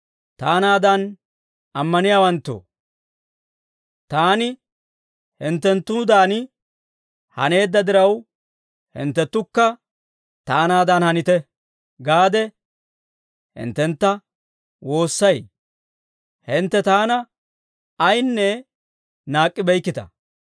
Taanaadan ammaniyaawanttoo, taani hinttenttuudan haneedda diraw, «Hinttenttukka taanaadan hanite» gaade, hinttentta woossay; hintte taana ayinne naak'k'ibeykkita.